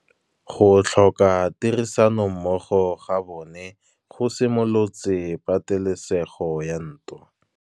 Go tlhoka tirsanommogo ga bone go simolotse patêlêsêgô ya ntwa.